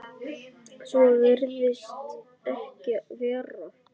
Svo virðist ekki vera.